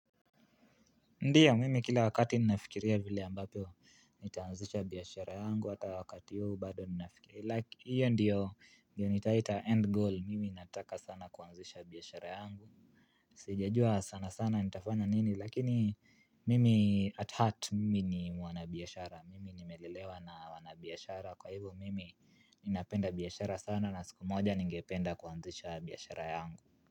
Ndiya mimi kila wakati ninafikiria vile ambavyo nitaanzisha biashara yangu hata wakati huu bado ninafikiria like hiyo ndiyo ni taita end goal mimi nataka sana kuanzisha biashara yangu. Sijajua sana sana nitafanya nini lakini mimi at heart mimi ni mwanabiashara mimi nimelelewa na wanabiashara kwa hivo mimi. Ninapenda biashara sana na siku moja ningependa kuanzisha biashara yangu.